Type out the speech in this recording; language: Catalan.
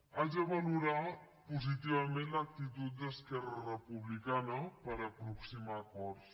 haig de valorar positivament l’actitud d’esquerra republicana per aproximar acords